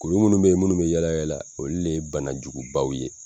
Kuru minnu be yen n'olu bɛ yala yala olu de ye banajugubaw ye.